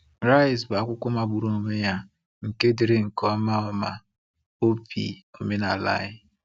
“Rise bụ akwụkwọ magburu onwe ya nke dere nke ọma ọma obi omenala anyị.